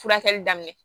Furakɛli daminɛ